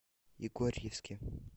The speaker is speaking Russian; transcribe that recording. егорьевске